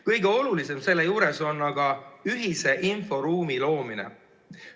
Kõige olulisem selle juures on aga ühise inforuumi loomine.